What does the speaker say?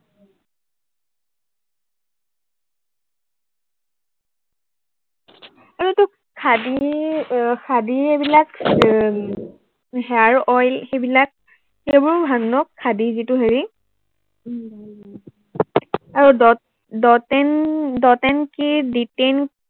খাদীৰ, আহ খাদীৰ এইবিলাক এৰ hair oil এইবিলাক, সেইবোৰো ভাল ন, খাদীৰ যিটো হেৰি আৰু dot, dot in, dot in কি ডিটেইন